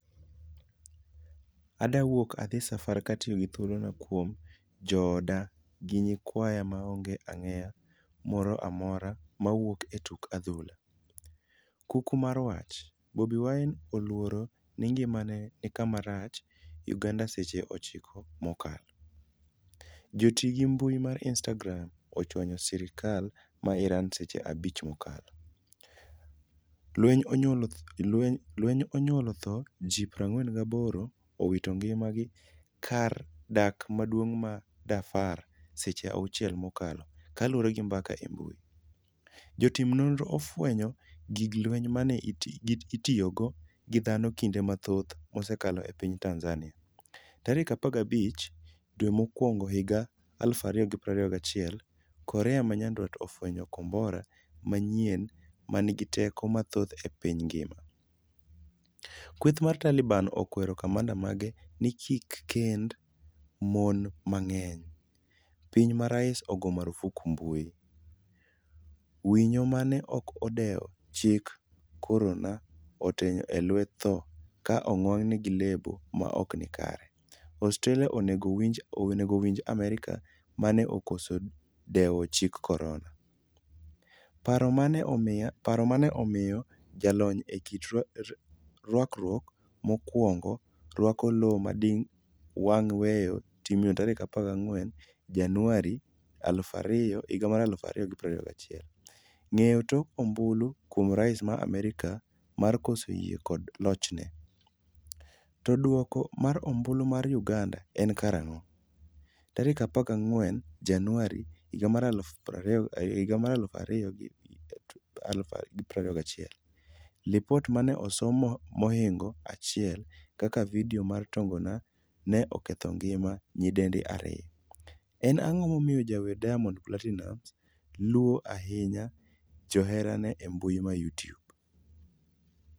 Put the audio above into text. "Adwa wuok adhi safar katiyogi thuolona kuom jooda gi nyikwaya maonge ageng'a moro amora mawuok e tuk adhula." Kuku mar wach: Bobi Wine oluoro ni ngimane ni kama rach' Uganda Seche 9 mokalo. Joti gi mbui mar Instagram ochwanyo sirkal ma Iran seche 5 mokalo. Lweny onyuolo thoe ji 48 owito ngima gi kar dak maduong' ma Darfur Seche 6 mokalo kaluore gi mbaka e mbui. Jotim nonro ofwenyo gig lweny mane itiyogo gi dhano kinde mathoth msekalo e piny Tanzania. Tarik 15 dwe mokwongohiga 2021 korea manyandwat ofwenyo kombora manyien manigi teko mathoth e piny ngima. Kweth mar Taliban okwero kamanda mage ni kikkend mon mang'eny. piny ma rais ogo marufuku mbui. Winyo mane ok odewo chik korona otony e lak tho ka onwang'e gi lebo maokni kare. Australia onego winj Amerka mane okoso dewo chik korona. paro mane omiyo jalony e kit rwakruok mokwongo rwako law madino wang' weyo timno tarik 14 januari 2021. Ng'eyo tok ombulu kuom rais ma Amerka mar koso yie kod lochne? To duoko mar ombulu mar uganda en karang'o?14 Januari 2021Lipot mane osom mohingo 1 kaka video mar tongona ne oketho ngima nyidendi 2. en ang'o momiyo jawer Diamond Platinumz luo ahinya joherane embui ma Youtube?